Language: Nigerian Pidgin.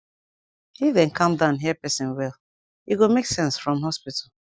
if dem calm down hear persin wel e go make sense from hospital